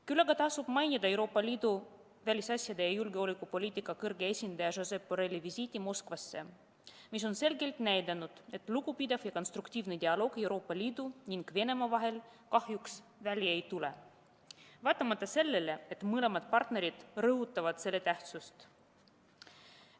Küll aga tasub mainida Euroopa Liidu välisasjade ja julgeolekupoliitika kõrge esindaja Josep Borrelli visiiti Moskvasse, mis on selgelt näidanud, et lugupidav ja konstruktiivne dialoog Euroopa Liidu ning Venemaa vahel kahjuks välja ei tule, vaatamata sellele, et mõlemad partnerid rõhutavad selle tähtsust.